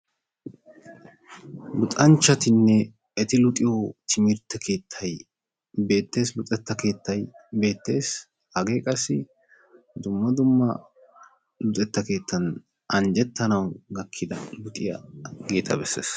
Luxanchchatinne eti luxiyo timirtte keettayi beettes. Luxetta keettayi beettes. Hagee qassi dumma dumma luxetta keettan anjjettanawu gakkida luxiyageeta besses.